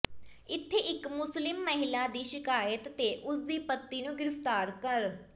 ਇੱਥੇ ਇੱਕ ਮੁਸਲਿਮ ਮਹਿਲਾ ਦੀ ਸ਼ਿਕਾਇਤ ਤੇ ਉਸ ਦੇ ਪਤੀ ਨੂੰ ਗ੍ਰਿਫਤਾਰ ਕਰ